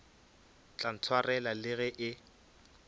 tla ntshwarela le ge e